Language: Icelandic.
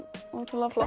ótrúlega flott